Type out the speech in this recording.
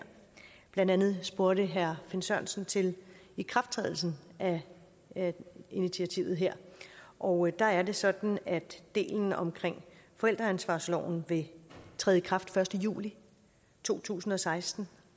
blandt andet spurgte herre finn sørensen til ikrafttrædelsen af initiativet her og der er det sådan at delen omkring forældreansvarsloven vil træde i kraft den første juli to tusind og seksten